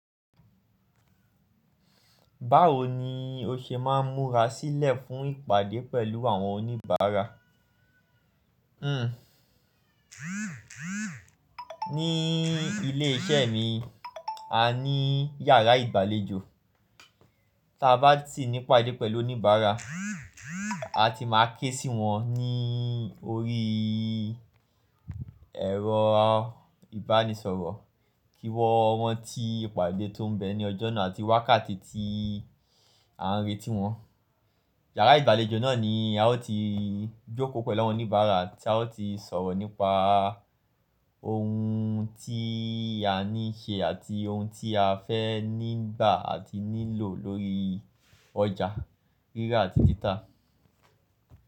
Báwo ni o ṣe máa ń múra sílẹ̀ fún ìpàdé pẹ̀lú àwọn oníbàárà? Hmm. Ní ilé iṣẹ́ mi, a ní yàrá ìgbàlejò. Tí a bá ti ní ìpàdé pẹ̀lú oníbàárà, a ti máa ké sì wọ́n ní orí ẹ̀rọ ìbánisọ̀rọ̀ kí wọ́n rántí ìpàdé tó ń bẹ̀ ní ọjọ́ náà àti wákàtí tí à ń retí wọ́n. Yàrá ìgbàlejò náà ni a ó ti jókòó pẹ̀lú àwọn oníbàárà tí a ó ti sọ̀rọ̀ nípa ohun tí a ní ṣe àti ohun tí a fẹ́ ní gbà àti ní lò lórí ọjà rírà àti títà.